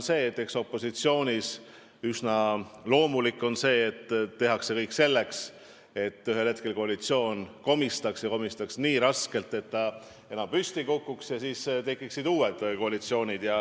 Eks opositsioonis olles on üsna loomulik teha kõik selleks, et ühel hetkel koalitsioon komistaks, ja komistaks nii hullusti, et ta enam püsti ei tõuseks ja tekiksid uued koalitsioonid.